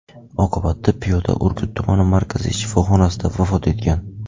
Oqibatda piyoda Urgut tumani markaziy shifoxonasida vafot etgan.